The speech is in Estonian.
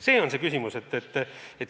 See on see küsimus.